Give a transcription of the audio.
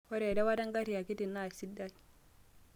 ore eraawata engarri akiti na kesidai